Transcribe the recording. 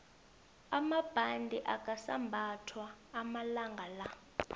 amabhande akasambathwa amalangala